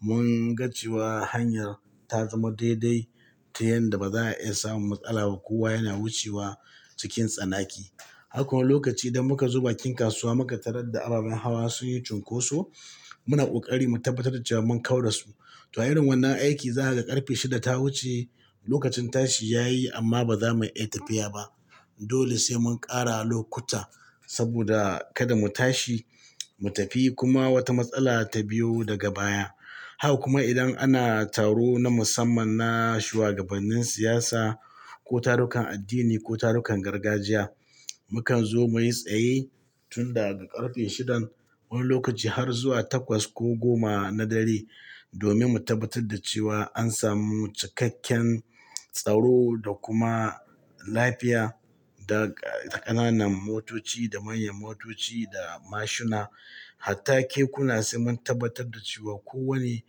mun ga cewa hanyar ta zama daidai ta yanda ba za a iya samun matsala ba. Kowa yana wucewa cikin tsanaki. Haka kuma lokaci idan muka zo bakin kasuwa muka tarar da ababen hawa sun yi cunkoso, muna ƙoƙari mu tabbatar da cewa mun kaura su. To irin wannan aiki za ka ga ƙarfe shida ta wuce lokacin tashi ya yi amma ba za mu iya tafiya ba. Dole sai mun ƙara lokuta saboda kada mu tashi mu tafi kuma wata matsala ta biyo daga baya. Haka kuma idan ana taro na musamman na shuwagabannin siyasa, ko tarukan addini ko tarukan gargajiya, mukan zo muyi tsaye tun daga ƙarfe shidan wani lokaci har zuwa takwas ko goma na dare domin mu tabbatar da cewa an samu cikakken tsaro da kuma lafiya. Da, da ƙananan motoci da manyan motoci da mashina, hatta kekuna sai mun tabbatar da cewa kowane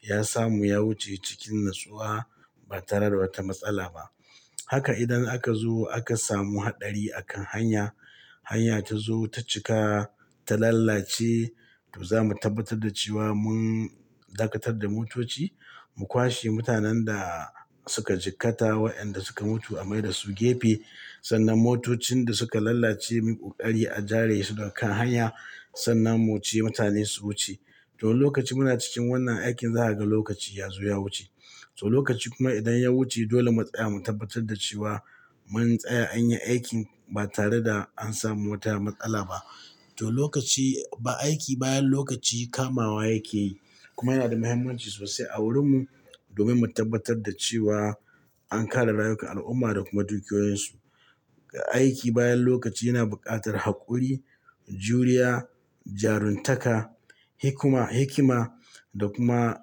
ya samu ya wuce cikin natsuwa ba tare da wata matsala ba. Haka idan aka zo aka samu haɗari a kan hanya, hanya ta zo ta cika ta lalace, to za mu tabbatar da cewa mun dakatar da motoci, mu kwashe mutanen da suka cikkata wa'yanda suka mutu a mai da su gefe. Sannan motocin da suka lalace muyi ƙoƙari a jare su daga kan hanya sannan mu wuce mutane su wuce. To lokaci muna cikin wannan aikin, za ka ga lokaci ya zo ya wuce. To lokaci kuma idan ya wuce dole mu tsaya mu tabbatar da cewa mun tsaya an yi aikin ba tare da an samu wata matsala ba. To lokaci, ba aiki bayan lokaci kamawa yake, kuma yana da muhimmanci sosai a wurinmu domin mu tabbatar da cewa an kare rayukan al'umma da kuma dukiyoyinsu. Aiki bayan lokaci yana buƙatar haƙuri, juriya, jaruntaka, hikma, hikima da kuma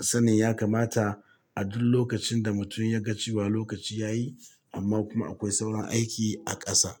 sanin ya kamata a duk lokacin da mutum ya ga cewa lokaci ya yi amma kuma akwai sauran aiki a ƙasa.